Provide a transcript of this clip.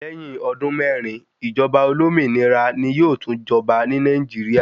Lẹ́yìn ọdún mẹ́ẹ́rin, ìjọba olómìnira ni yóò tún jọba ní Nàìjíríà.